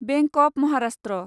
bank of Maharashtra